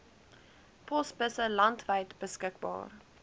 posbusse landwyd beskikbaar